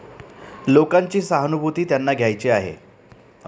लोकांची सहानुभूती त्यांना घ्यायची आहे.